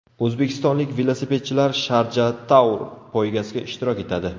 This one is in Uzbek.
O‘zbekistonlik velosipedchilar Sharja Tour poygasida ishtirok etadi.